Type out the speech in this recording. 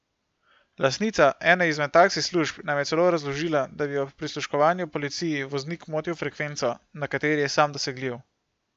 Lastnica ene izmed taksi služb nam je celo razložila, da bi ob prisluškovanju policiji voznik motil frekvenco, na kateri je sam dosegljiv.